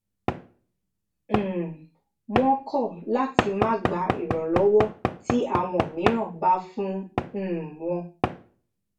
um wón kó láti máa gba ìrànlówó tí áwọn mìíràn bá fún um wọn